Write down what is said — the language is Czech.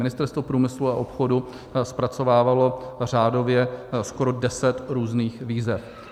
Ministerstvo průmyslu a obchodu zpracovávalo řádově skoro deset různých výzev.